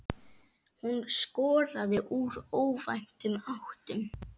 Hún skoraði úr óvæntum áttum.